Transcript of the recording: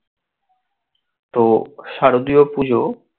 তো শারদীয়ার পুজো